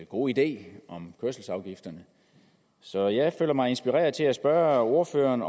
gode idé om kørselsafgifterne så jeg føler mig inspireret til at spørge ordføreren